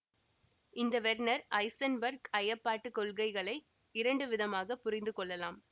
இந்த Werner Heisenberg ஐயப்பாட்டு கொள்கைகளை இரண்டு விதமாக புரிந்து கொள்ளலாம்